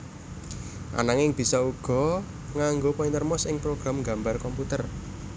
Ananging bisa uga nganggo pointer mouse ing program nggambar komputer